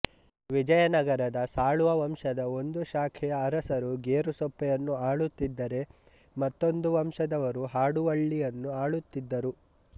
ವಿಜಯನಗರದ ಸಾಳುವ ವಂಶದ ಒಂದು ಶಾಖೆಯ ಅರಸರು ಗೇರುಸೊಪ್ಪೆಯನ್ನು ಆಳುತ್ತಿದ್ದರೆ ಮತ್ತೊಂದು ವಂಶದವರು ಹಾಡುವಳ್ಳಿಯನ್ನು ಆಳುತ್ತಿದ್ದರು